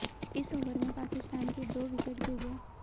इस ओवर में पाकिस्तान के दो विकेट गिर गये